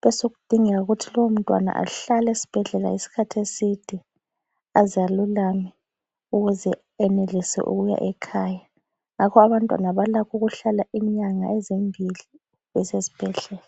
besokudingeka ukuthi lowo mntwana ahlale esbhedlela iskhathi eside azalulame ukuze enelise ukuya ekhaya, ngakho abantwana balakho ukuhlala inyanga ezimbili besesibhedlela